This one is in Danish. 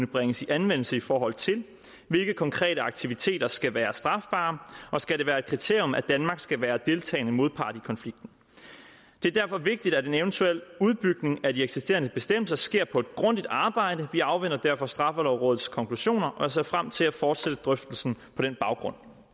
bringes i anvendelse i forhold til hvilke konkrete aktiviteter skal være strafbare og skal det være et kriterium at danmark skal være en deltagende modpart i konflikten det er derfor vigtigt at en eventuel udbygning af de eksisterende bestemmelser sker på et grundigt arbejde vi afventer derfor straffelovrådets konklusioner og ser frem til at fortsætte drøftelsen på den baggrund